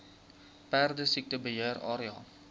perdesiekte beheer area